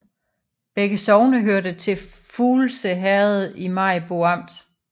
Begge sogne hørte til Fuglse Herred i Maribo Amt